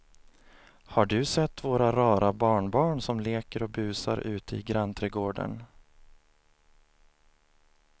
Har du sett våra rara barnbarn som leker och busar ute i grannträdgården!